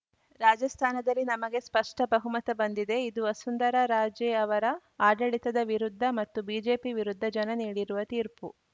ರಾಜಸ್ಥಾನದಲ್ಲಿ ನಮಗೆ ಸ್ಪಷ್ಟಬಹುಮತ ಬಂದಿದೆ ಇದು ವಸುಂಧರಾ ರಾಜೇ ಅವರ ಆಡಳಿತದ ವಿರುದ್ಧ ಮತ್ತು ಬಿಜೆಪಿ ವಿರುದ್ಧ ಜನ ನೀಡಿರುವ ತೀರ್ಪು